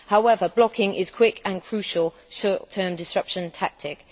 However blocking is a quick and crucial short term disruption tactic.